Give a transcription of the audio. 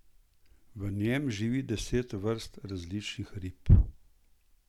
V njem živi deset vrst različnih rib.